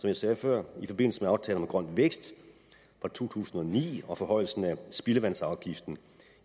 jeg sagde før i forbindelse med aftalen om grøn vækst fra to tusind og ni og forhøjelsen af spildevandsafgiften